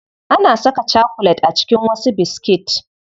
Ana saka chakulet a cikin wasu biskit.